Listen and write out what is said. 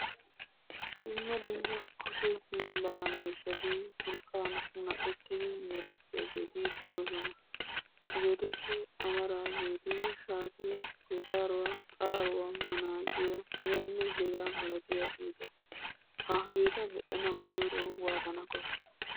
Dumma dumma kushe hiillaa miishshati urqqan munaqqettidi meretiyaageeti de'oosona. Hegeetuppe amaraageeti shaatiya, kuyxxaruwa, xaaruwa, manaacciya hegaanne hegaa malatiyageeta , hageeta medhanawu koyro waattana koshshii?